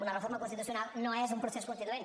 una reforma constitucional no és un procés constituent